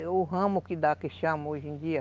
É o ramo que dá, que chama hoje em dia.